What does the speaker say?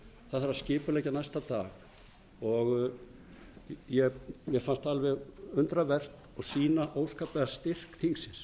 það þarf að skipuleggja næsta dag og mér fannst alveg undravert og sýna óskaplegan styrk þingsins